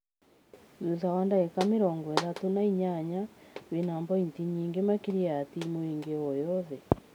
Thutha na ndagika mĩrongo-ĩtatũ na inyanya wĩna bointi nyingĩ makĩria ya timu ingĩ o yothe.